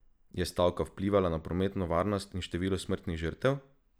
Je stavka vplivala na prometno varnost in število smrtnih žrtev?